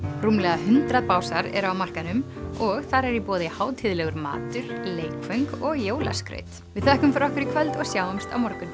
rúmlega hundrað básar eru á markaðnum og þar er í boði hátíðlegur matur leikföng og jólaskraut við þökkum fyrir okkur í kvöld og sjáumst á morgun